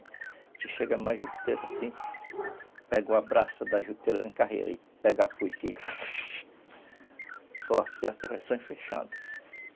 A gente chega na juteira assim, pega o abraço da juteira, ela é em carreira, a gente pega a foice e... Só acerta e vai saindo fechando.